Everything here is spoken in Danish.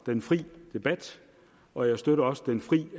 den frie debat og jeg støtter også den frie